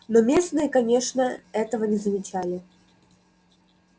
но местные конечно этого не замечали